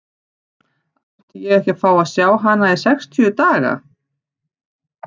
Átti ég ekki að fá að sjá hana í sextíu daga?